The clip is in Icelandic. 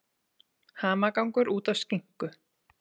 Hamagangur út af skinku